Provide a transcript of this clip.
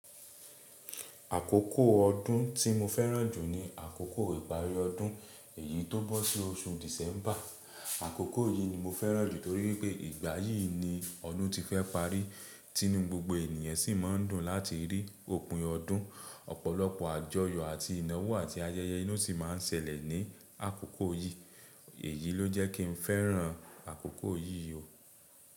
Àkókò ọdún tí mo fẹ́ràn jù ni àkókò ìparí ọdún, èyí tó bọ́ sí oṣù December. Àkókò yìí ni mo fẹ́ràn jù torí pé ìgbà yìí ni ọdún ti fẹ́ parí tínú gbogbo ènìyàn sì mọ̀ ń dùn láti rí òpin ọdún, ọ̀pọ̀lọpọ̀ àjọyọ̀ àti ìnáwó àti ayẹyẹ ni ó sì mọ́ ń ṣẹlẹ̀ ní àkókò yìí. Èyí ló jẹ́ kí n fẹ́ràn àkókò yìí jù.